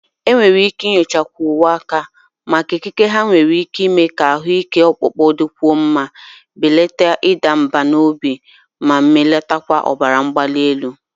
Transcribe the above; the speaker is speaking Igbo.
Enwere ike nyochakwu uwe aka maka ikike ha nwere ime ka ahụ ike ọkpụkpụ dịkwuo mma, belata ịda mbà n'obi, na mbelata ọbara mgbali.